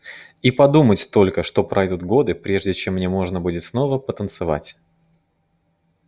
и подумать только что пройдут годы прежде чем мне можно будет снова потанцевать